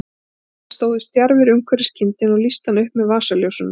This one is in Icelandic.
Þeir stóðu stjarfir umhverfis kindina og lýstu hana upp með vasaljósunum.